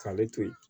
K'ale to yen